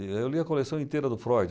Eu li a coleção inteira do Freud.